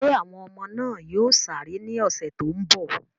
Ṣé àwọn ọmọ náà yóò sáré ní ọ̀sẹ̀ tó ń bọ̀?